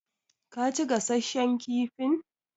Ka ci gasasshen kifin?